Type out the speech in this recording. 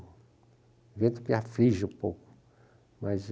O vento me aflige um pouco. Mas